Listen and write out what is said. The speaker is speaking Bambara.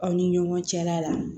Aw ni ɲɔgɔn cɛla la